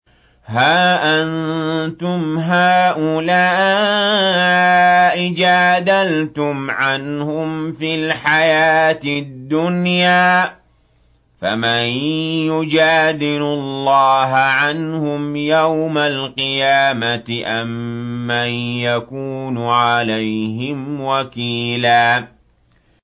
هَا أَنتُمْ هَٰؤُلَاءِ جَادَلْتُمْ عَنْهُمْ فِي الْحَيَاةِ الدُّنْيَا فَمَن يُجَادِلُ اللَّهَ عَنْهُمْ يَوْمَ الْقِيَامَةِ أَم مَّن يَكُونُ عَلَيْهِمْ وَكِيلًا